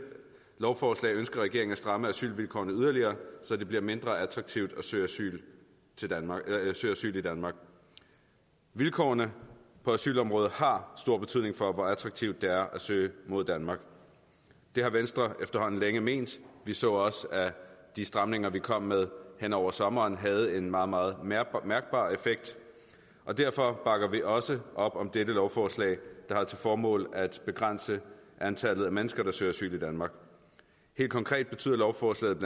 lovforslag ønsker regeringen at stramme asylvilkårene yderligere så det bliver mindre attraktivt at søge asyl i danmark vilkårene på asylområdet har stor betydning for hvor attraktivt det er at søge mod danmark det har venstre efterhånden længe ment vi så også at de stramninger vi kom med hen over sommeren havde en meget meget mærkbar effekt og derfor bakker vi også op om dette lovforslag der har til formål at begrænse antallet af mennesker der søger asyl i danmark helt konkret betyder lovforslaget